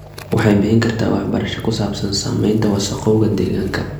Waxay bixin kartaa waxbarasho ku saabsan saamaynta wasakhowga deegaanka.